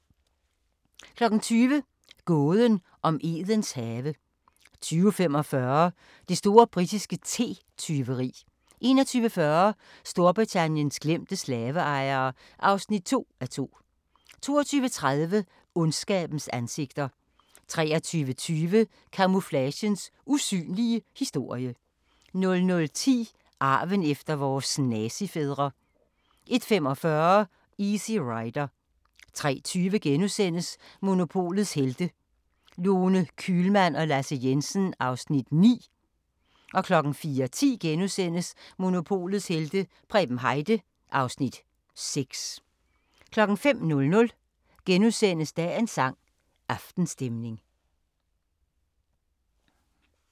20:00: Gåden om Edens have 20:45: Det store britiske te-tyveri 21:40: Storbritanniens glemte slaveejere (2:2) 22:30: Ondskabens ansigter 23:20: Camouflagens usynlige historie 00:10: Arven efter vores nazifædre 01:45: Easy Rider 03:20: Monopolets Helte – Lone Kühlmann og Lasse Jensen (Afs. 9)* 04:10: Monopolets helte - Preben Heide (Afs. 6)* 05:00: Dagens sang: Aftenstemning *